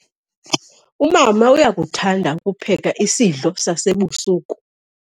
Umama uyakuthanda ukupheka isidlo sasebusuku.